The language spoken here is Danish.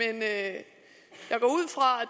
at